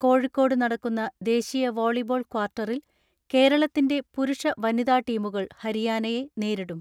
കോഴിക്കോട് നടക്കുന്ന ദേശീയ വോളിബോൾ ക്വാർട്ടറിൽ കേരളത്തിന്റെ പുരുഷ വനിതാ ടീമുകൾ ഹരിയാനയെ നേരിടും.